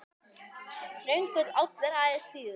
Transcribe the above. Þröngur áll er aðeins þíður.